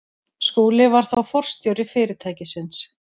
Skúli var þá forstjóri fyrirtækisins.